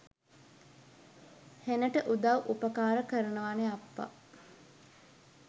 හෙනට උදවු උපකාර කරනවනෙ අප්පා.